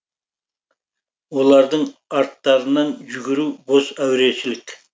олардың арттарынан жүгіру бос әурешілік